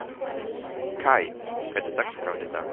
Kai, hvernig er dagskráin í dag?